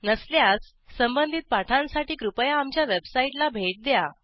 नसल्यास संबंधित पाठांसाठी कृपया आमच्या वेबसाईटला भेट द्या